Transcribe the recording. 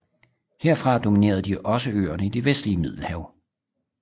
Herfra dominerede de også øerne i det vestlige Middelhav